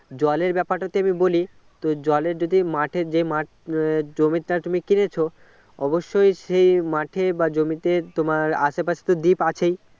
জলের ব্যাপারটা তো আমি বলি তো জলে যদি মাঠে যে মাঠ জমিটা তুমি কিনেছো অবশ্যই সেই মাঠে বা জমিতে তোমার আশেপাশে তো deep আছেই